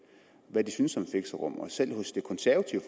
hvad de syntes om fixerum og selv hos det konservative